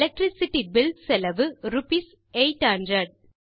electricity bill செலவு rupees 800